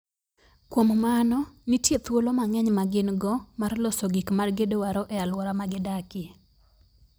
Kuom mano, nitie thuolo mang'eny ma gin-go mar loso gik ma gidwaro e alwora ma gidakie.